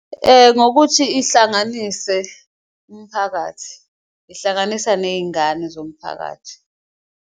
Ngokuthi ihlanganise umphakathi, ihlanganisa ney'ngane zomphakathi.